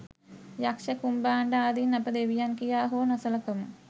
යක්ෂ කුම්භාණ්ඩ ආදීන් අප දෙවියන් කියා හෝ නොසලකමු.